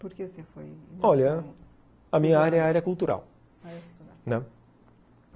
Porque você foi... Olha, a minha área é a área cultural. Área cultural, né?